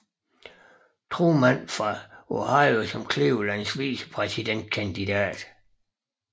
Thurman fra Ohio som Clevelands vicepræsidentkandidat